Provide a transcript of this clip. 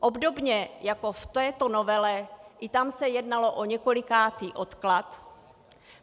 Obdobně jako v této novele, i tam se jednalo o několikátý odklad.